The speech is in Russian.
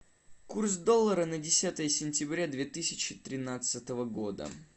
курс доллара на десятое сентября две тысячи тринадцатого года